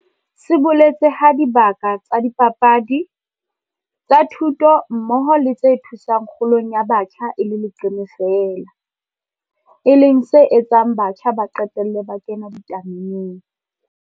Se boletse ha dibaka tsa dipapadi, tsa thuto mmoho le tse thusang kgolong ya batjha e le leqeme feela, e leng se etsang batjha ba qetelle ba kena ditameneng.